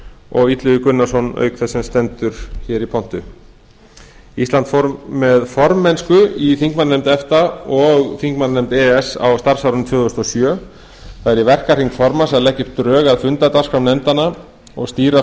og illugi gunnarsson auk þess sem hér stendur í pontu ísland fór með formennsku í þingmannanefnd efta og þingmannanefnd e e s á starfsárinu tvö þúsund og sjö það er í verkahring formanns að leggja upp drög að fundardagskrám nefndanna og stýra